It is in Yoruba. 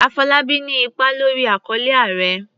Afolábí ní ipa lórí àkọlé"Ààrẹ".